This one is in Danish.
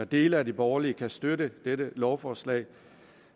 dele af de borgerlige kan støtte dette lovforslag